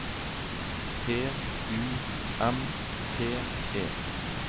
P U M P E